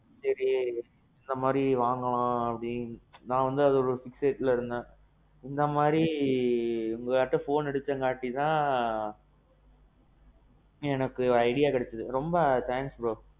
சேரி இந்த மாறி வாங்கலாம் அப்பிடின்னுட்டு. நான் வாந்தி அது ஒரு situationல இருந்தேன். இந்த மாறி உங்கட கேக்காம phone எடுத்த நாலதான், எனக்கு idea கெடச்சது. ரொம்ப Thanks bro.